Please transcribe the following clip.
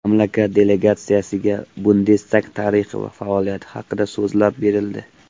Mamlakat delegatsiyasiga Bundestag tarixi va faoliyati haqida so‘zlab berildi.